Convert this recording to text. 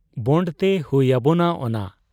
ᱵᱚᱸᱰᱽ ᱛᱮ ᱦᱩᱭ ᱟᱵᱚᱱᱟ ᱚᱱᱟ ᱾